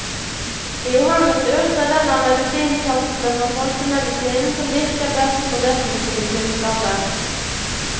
Johannesurt er den av medisinplantene fra folkemedisinen som virker best på depressive tilstander.